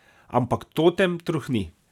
Ampak totem trohni.